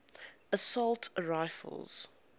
assault rifles